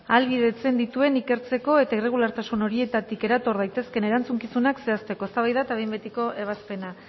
ahalbidetzen dituen ikertzeko eta irregulartasun horietatik erator daitezkeen erantzukizunak zehazteko eztabaida eta behin betiko ebazpena